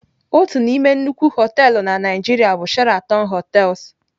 Otu n'ime nnukwu họteelụ na Nigeria bụ Sheraton hotels.